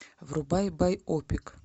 врубай байопик